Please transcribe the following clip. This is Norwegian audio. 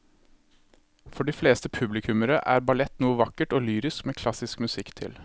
For de fleste publikummere er ballett noe vakkert og lyrisk med klassisk musikk til.